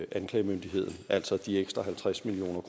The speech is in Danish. anklagemyndigheden altså de ekstra halvtreds million